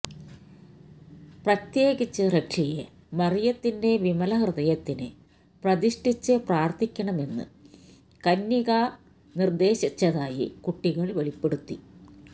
പ്രത്യേകിച്ച് റഷ്യയെ മറിയത്തിന്റെ വിമലഹൃദയത്തിന് പ്രതിഷ്ഠിച്ച് പ്രാർത്ഥിക്കണമെന്ന് കന്യകാ നിർദേശിച്ചതായി കുട്ടികൾ വെളിപ്പെടുത്തി